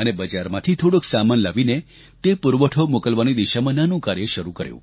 અને બજારમાંથી થોડોક સામાન લાવીને તે પુરવઠો મોકલવાની દિશામાં નાનું કાર્ય શરૂ કર્યું